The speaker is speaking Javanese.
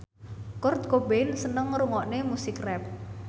Kurt Cobain seneng ngrungokne musik rap